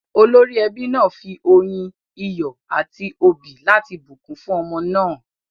Olórí ẹbí náà fi oyin, iyọ̀ a ti òbí láti bùnkún fún ọmọ náà.